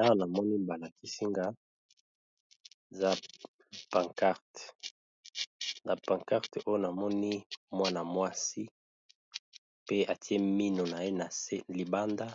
Awanamoni balakisi ngai eza panquarte namoni Mwana mwasi pe Mino naye libanda